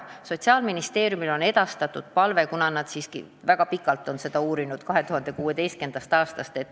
Sotsiaalministeeriumile on edastatud palve, kuna nad siiski on seda väga pikalt uurinud, 2016. aastast.